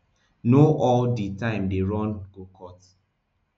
no all di time dey run go court